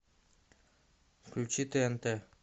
включи тнт